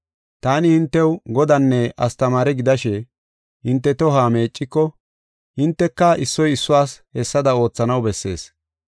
Taani hintew Godanne astamaare gidashe hinte tohuwa meecciko hinteka issoy issuwas hessada oothanaw bessees.